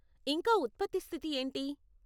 ఇంకా ఉత్పత్తి స్థితి ఏంటి?